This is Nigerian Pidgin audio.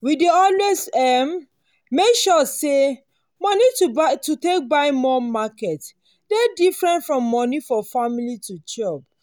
we dey always um make sure say moni to take buy more market dey different from the moni for family to chop.